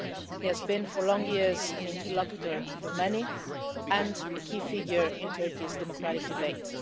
He has been for long years an interlocutor for many and a key figure in Turkey's democratic debate.